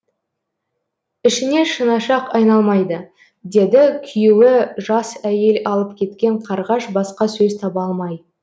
ішіңе шынашақ айналмайды деді күйеуі жас әйел алып кеткен қарғаш басқа сөз таба алмай